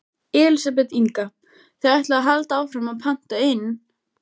Elísabet Inga: Þið ætlið að halda áfram að panta inn?